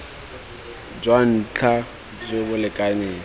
jwa ntlha jo bo lekaneng